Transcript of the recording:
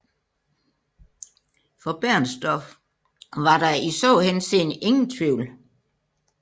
For Bernstorff var der i så henseende ingen tvivl